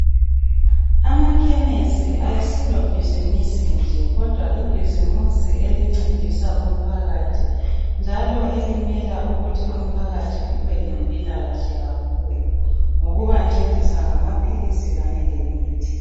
Amakhemisi ayisilo ibhizimusi nje ,kodwa libhizimusi elkncedisa umphakathi. Njalo elimela umphakathi ukuthi ube lempilakahle kakhulu ngokubancedisa ngamaphilisi lemithi.